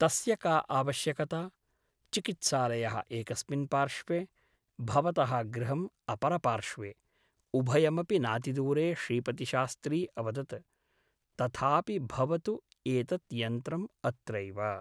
तस्य का आवश्यकता ? चिकित्सालयः एकस्मिन् पार्श्वे । भवतः गृहम् अपरपार्श्वे । उभयमपि नातिदूरे श्रीपतिशास्त्री अवदत् । तथापि भवतु एतत् यन्त्रम् अत्रैव ।